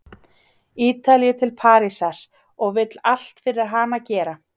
Ítalíu til Parísar og vill allt fyrir hana gera.